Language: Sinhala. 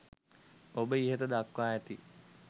ඔබ ඉහත දක්වා ඇති